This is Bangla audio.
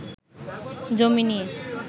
জমি নিয়ে